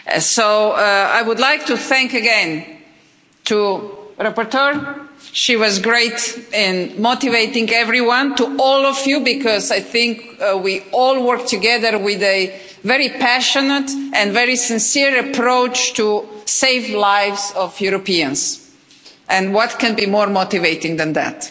So I would like to thank again the rapporteur she was great in motivating everyone and all of you because I think we all work together with a very passionate and very sincere approach to save the lives of Europeans, and what can be more motivating than that?